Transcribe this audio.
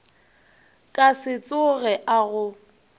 ka se tsoge a go